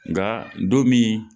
Nka don min